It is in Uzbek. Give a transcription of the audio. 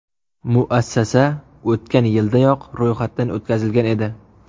Muassasa o‘tgan yildayoq ro‘yxatdan o‘tkazilgan edi.